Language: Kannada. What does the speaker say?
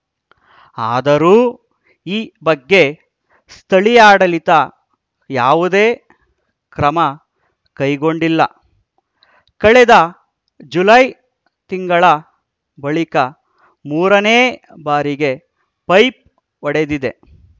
ಆದರೂ ಈ ಬಗ್ಗೆ ಸ್ಥಳೀಯಾಡಳಿತ ಯಾವುದೇ ಕ್ರಮ ಕೈಗೊಂಡಿಲ್ಲ ಕಳೆದ ಜುಲೈ ತಿಂಗಳ ಬಳಿಕ ಮೂರನೇ ಬಾರಿಗೆ ಪೈಪ್ ಒಡೆದಿದೆ